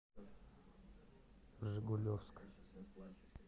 жигулевск